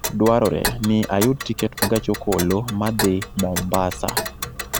2Zepa dwarore ni ayud tiket ma gach okoloma dhi mombasa